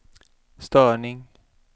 störning